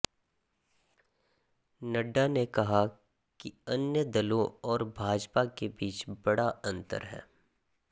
नड्डा ने कहा कि अन्य दलों और भाजपा के बीच बड़ा अंतर है